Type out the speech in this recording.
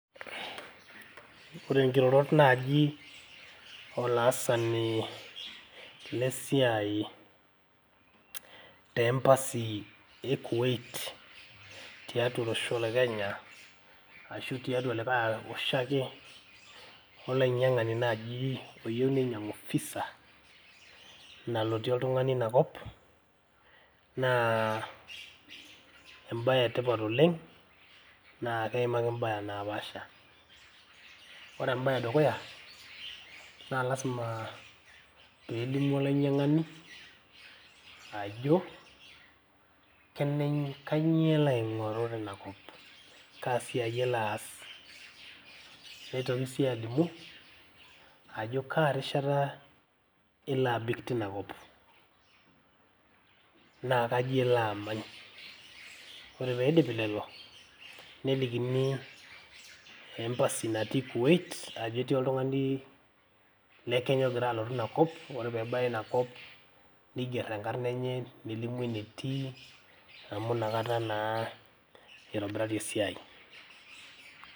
Ore nkirorot naaji olaasani le siai te embassy e Kuwait tiatua olosho le Kenya ashu tiatua likae osho ake olainyiang`ani naaji oyieu neinyiang`u visa nalotie oltung`aani ina kop. Naa em`bae e tipat oleng naa keimaki im`baa napaasha. Ore em`bae e dukuya naa lazima pee elimu olainyiang`ani ajo kene kainyioo elo aing`oru teina kop kaa siai elo aas. Neitoki sii alimu ajo kaa rishata elo abik teina kop naa kaji elo amany. Ore pee eidipi lelo nelikini embassy natii Kuwait ajo ketii oltung`ani le Kenya ogira alotu ina kop. Ore pee ebaya ina kop nigerr enkarna enye nelimu enetii amu inakata naa eitobirari esiai.